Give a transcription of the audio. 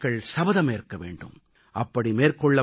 கோடிக்கணக்கான மக்கள் சபதமேற்க வேண்டும்